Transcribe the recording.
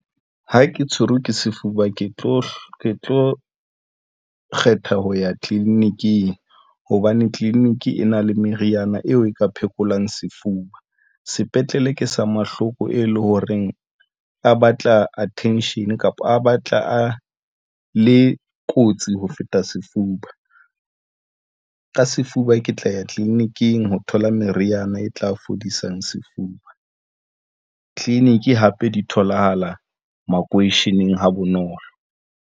Ha ke tshwerwe ke sefuba, ke tlo kgetha ho ya tleliniking hobane tleliniki e na le meriana eo e ka phekolang sefuba sepetlele ke sa mahloko, e leng horeng a batla attention kapa a batla a le kotsi ho feta sefuba ka sefuba Ke tla ya tleliniki ho thola meriana e tla fodisang sefuba clinic hape di tholahala makweisheneng ha bonolo.